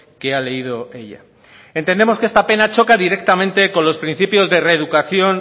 que ha leído ella entendemos que esta pena choca directamente con los principios de reeducación